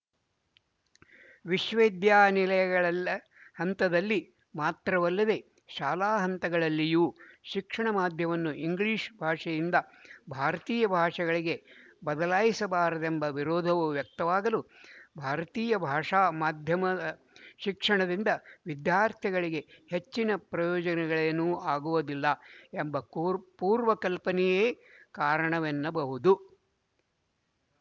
ವಿಶ್ವವಿದ್ಯಾನಿಲಯಗಳಲ್ಲ ಹಂತದಲ್ಲಿ ಮಾತ್ರವಲ್ಲದೆ ಶಾಲಾ ಹಂತಗಳಲ್ಲಿಯೂ ಶಿಕ್ಷಣ ಮಾಧ್ಯಮವನ್ನು ಇಂಗ್ಲಿಶ ಭಾಷೆಯಿಂದ ಭಾರತೀಯ ಭಾಷೆಗಳಿಗೆ ಬದಲಾಯಿಸಬಾರದೆಂಬ ವಿರೋಧವು ವ್ಯಕ್ತವಾಗಲು ಭಾರತೀಯ ಭಾಷಾ ಮಾಧ್ಯಮದ ಶಿಕ್ಷಣದಿಂದ ವಿದ್ಯಾರ್ಥಿಗಳಿಗೆ ಹೆಚ್ಚಿನ ಪ್ರಯೋಜನಗಳೇನೂ ಆಗುವುದಿಲ್ಲ ಎಂಬ ಕೂರ್ ಪೂರ್ವಕಲ್ಪನೆಯೇ ಕಾರಣವೆನ್ನಬಹುದು